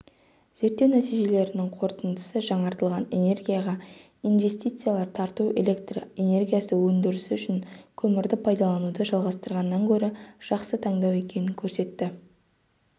зерттеу нәтижелерінің қорытындысы жаңартылатын энергияға инвестициялар тарту электр энергиясы өндірісі үшін көмірді пайдалануды жалғастырғаннан көрі жақсы таңдау екенін көрсетті